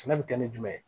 Sɛnɛ bi kɛ ni jumɛn ye